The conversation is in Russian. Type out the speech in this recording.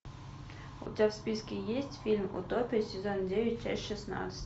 у тебя в списке есть фильм утопия сезон девять часть шестнадцать